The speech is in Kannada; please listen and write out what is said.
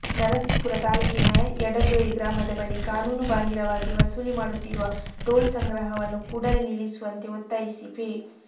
ನರಸೀಪುರ ತಾಲೂಕಿನ ಯಡದೊರೆ ಗ್ರಾಮದ ಬಳಿ ಕಾನೂನು ಬಾಹಿರವಾಗಿ ವಸೂಲಿ ಮಾಡುತ್ತಿರುವ ಟೋಲ್ ಸಂಗ್ರಹವನ್ನು ಕೂಡಲೇ ನಿಲ್ಲಿಸುವಂತೆ ಒತ್ತಾಯಿಸಿ ಫೆ